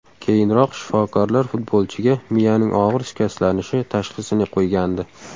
Keyinroq shifokorlar futbolchiga miyaning og‘ir shikastlanishi tashxisini qo‘ygandi.